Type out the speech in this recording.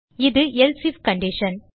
இது else if condition